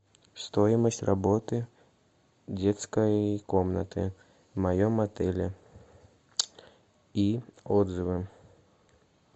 стоимость работы детской комнаты в моем отеле и отзывы